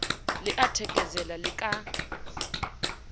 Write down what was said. le a thekesela le ka